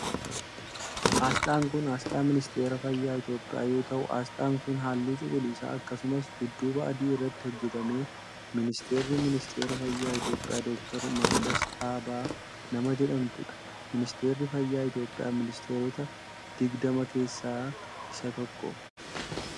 Asxaan kun, asxaa ministeera fayyaa Itoophiyaa yoo ta'u, asxaan kun halluu cuquliisa akkasumas dudduuba adii irratti hojjatame. Ministeerri ministeera fayyaa Itoophiyaa Doktar Makdas Dhaabaa nama jedhamtuu dha. Ministeerri fayyaa Itoophiyaa, ministeerota digdama keessaa isa tokko.